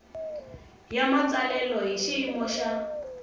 ya matsalelo hi xiyimo xa